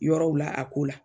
Yɔrɔw la a ko la